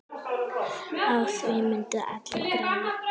Á því myndu allir græða.